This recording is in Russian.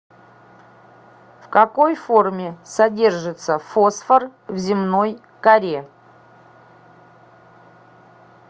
в какой форме содержится фосфор в земной коре